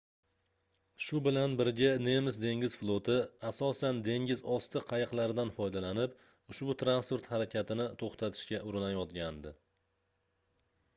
shu bilan birga nemis dengiz floti asosan dengizosti qayiqlaridan foydalanib ushbu transport harakatini toʻxtatishga urinayotgandi